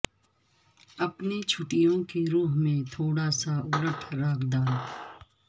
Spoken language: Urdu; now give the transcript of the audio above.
اپنے چھٹیوں کے روح میں تھوڑا سا الٹ راک ڈال